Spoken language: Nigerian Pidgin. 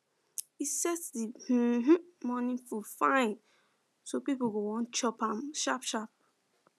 e set the um morning food fine so people go wan chop um sharp sharp